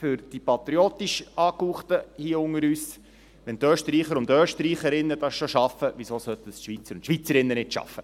Für die patriotisch Angehauchten unter uns: Wenn die Österreicherinnen und Österreicher das schaffen, wieso sollten nicht auch die Schweizerinnen und Schweizer dies schaffen?